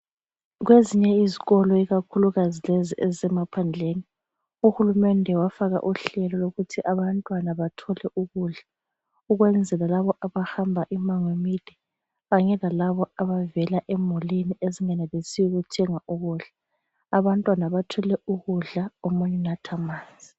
Kwezinye izikolo ikakhulukazi lezi ezisemaphandleni uhulumende wafaka uhlelo lokuthi abantwana bathole ukudla, ukwenzela laba abahamba imango emide kanye lalaba abavela emulini ezingenelisiyo ukuthenga ukudla. Abantwana bathwele ukudla omunye unatha amanzi.